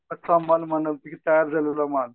कच्चा माल म्हणा तयार झालेला माल